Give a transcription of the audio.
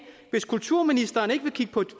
hvis kulturministeren ikke vil kigge på